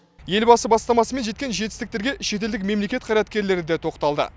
елбасы бастамасымен жеткен жетістіктерге шетелдік мемлекет қайраткерлері де тоқталды